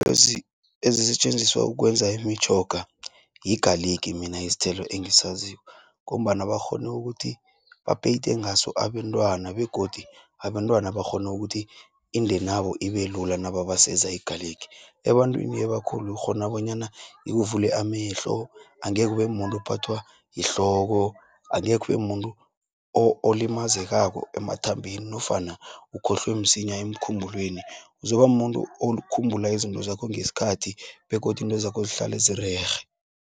Ezisetjenziswa ukwenza imitjhoga yigaligi mina isthelo engisaziko, ngombana bakghone ukuthi bapeyite ngaso abentwana, begodu abentwana bakghone ukuthi indenabo ibelula nababaseza igaligi. Ebantwini abakhulu ukghona, bonyana ikuvule amehlo angeke ubemumuntu ophathwa yihloko. Angekhe ubemuntu olimazekako emathambeni, nofana ukhohlwe msinya emkhumbulweni. Uzoba muntu okhumbula izinto zakho ngeskhathi, begodu intwezakho zihlale zirerhe.